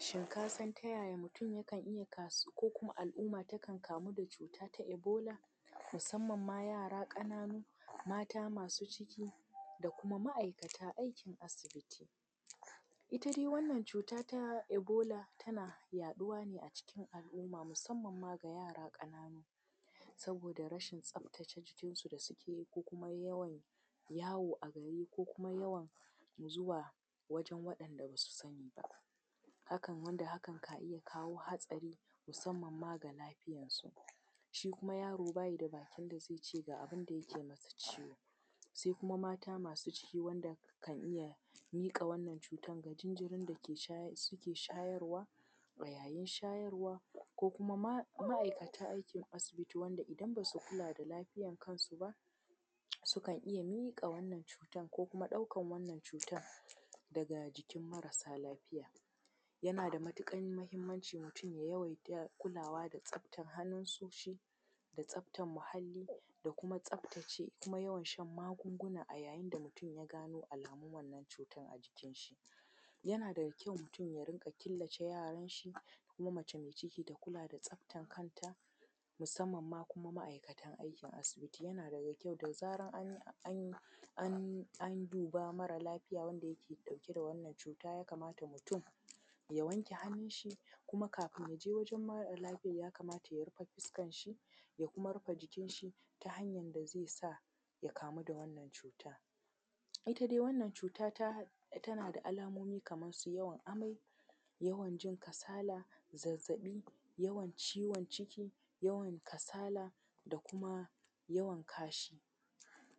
Shin ka san ta yaya mutum yakan iya kas.. ko kuma al’umma takan kamu da cuta ta Ebola? Musamman ma yara ƙananu, da mata masu ciki, da kuma ma’aikata aikin asibiti. Ita dai wannan cuta ta Ebola tana yaɗuwa ne a cikin al’umma musamman ma ga yara ƙananu, saboda yawan rashin tsabtace jikinsu da suke yi, ko kuma yawan yawo a gari, ko kuma yawan zuwa wajen waɗanda ba su sani ba. Hakan, wanda hakan ka iya kawo hatsari musamman ma ga lafiyarsu. Shi kuma yaro ba yi da bakin da zai ce ga abin da yake masa ciwo. Sai kuma mata masu ciki wanda kan iya miƙa wannan cutar ga jinjirin da suke shayarwa a yayin shayarwa. Ko kuma ma’aikata aikin asibiti wanda idan ba su kula da lafiyan kansu ba, sukan iya miƙa wannan cutar ko kuma ɗaukar wannan cutar daga jikin marasa lafiya. Yana da matuƙar muhimmanci mutum ya yawaita kulawa da tsabtar hannusoshi da tsabtar muhalli da kuma tsabtace da kuma yawan shan magunguna a yayin da mutum ya gano alamun wannan cutar. Yana da kyau mutum ya rinƙa killace yaranshi, kuma mace mai ciki ta kula da tsabtan kanta, musamman ma kuma ma’aikata aikin asibiti. Yana da kyau da zaran an, an duba mara lafiya wanda yake ɗauke da wannan cuta ya kamata mutum ya wanke hannunshi, kuma kafin ya je wajen mara lafiyar ya kamata ya rufe fuskarshi, ya kuma rufe jikinshi ta hanyar da zai sa ya kamu da wannan cuta. Ita dai wannan cuta ta, tana da alamomi kamar su yawan amai; yawan jin kasala; zazzaɓi; yawan ciwon ciki; yawan kasala da kuma yawan kashi.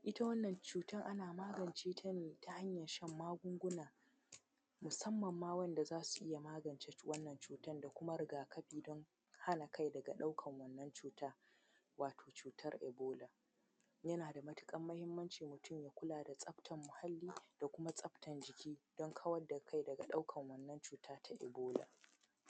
Ita wannan cutar ana magance ta ne ta hanyar shan magunguna, musamman ma dai wanda za su iya magance wannan cutar, da kuma riga-kafi don hana kai daga ɗaukar wannan cuta, wato cutar Ebola. Yana da matuƙar muhimmanci mutum ya kula da tsabtar muhalli, da kuma tsabtan jiki don kawar da kai daga ɗaukar wannan cuta ta Ebola.